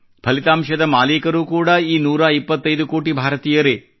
ಫಲಿತಾಂಶದ ಮಾಲೀಕರು ಕೂಡಾ ಈ ನೂರಾ ಇಪ್ಪತ್ತೈದು ಕೋಟಿ ಭಾರತೀಯರೇ